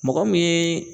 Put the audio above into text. Mɔgɔ min ye